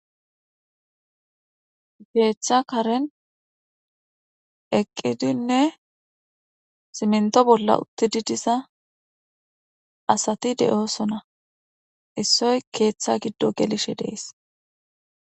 Keeththa karen eqqidinne siminto bolla uttidi diza asati de'osona issoy keeththa giddo gelishe dees